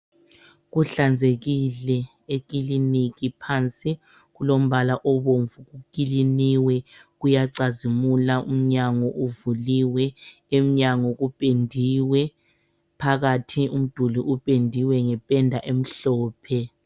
Kuhlanzekile ekiliniki phansi kulombala obomvu kukiliniwe kuyacazimula umnyango uvuliwe emnyango kupendiwe phakathi umduli upendiwe ngependa emhlophe.